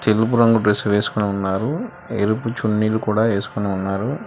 తెలుపు రంగు డ్రెస్ వేసుకుని ఉన్నారు ఎరుపు చున్నీలు కూడా ఏసుకుని ఉన్నారు.